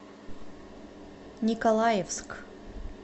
николаевск